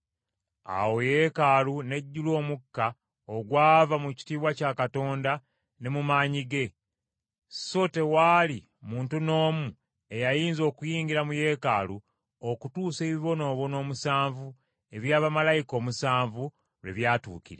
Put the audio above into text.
Awo Yeekaalu n’ejjula omukka ogwava mu kitiibwa kya Katonda n’emu maanyi ge, so tewaali muntu n’omu eyayinza okuyingira mu Yeekaalu okutuusa ebibonoobono omusanvu ebya bamalayika omusanvu lwe byatuukirira.